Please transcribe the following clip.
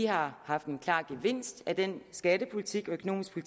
har haft en klar gevinst af den skattepolitik og økonomiske